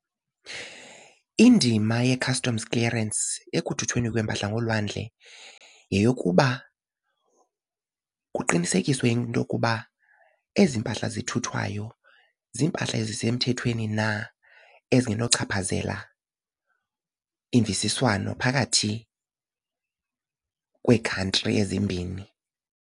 Indima ye-customs clearance ekuthuthweni kweempahla ngolwandle yeyokuba kuqinisekiswe into yokuba ezi mpahla zithuthwayo ziimpahla ezisemthethweni na ezingenochaphazela imvisiswano phakathi kwee-country ezimbini.